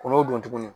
Kɔn'o don tuguni